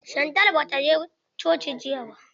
Shantel ba ta je coci jiya ba.